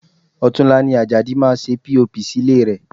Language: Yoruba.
Ọ̀tunla ni Ajadi máa ṣe POP sí ilé rẹ̀